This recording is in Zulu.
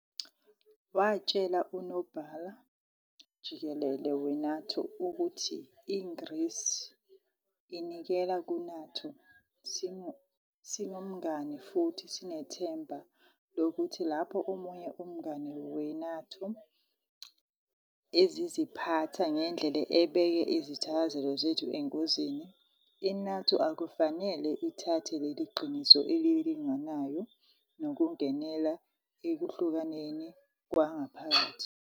Watshela uNobhala-Jikelele we-NATO ukuthi iGrisi "inikela ku-NATO, singumngane futhi sinethemba lokuthi lapho omunye umngane we-NATO eziziphatha ngendlela ebeka izithakazelo zethu engozini, I-NATO akufanele ithathe leli qiniso elilinganayo nokungenela ekuhlukaneni kwangaphakathi.